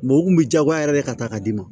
u kun bɛ diyagoya yɛrɛ de ka taa ka d'i ma